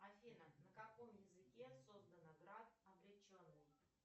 афина на каком языке создана град обреченный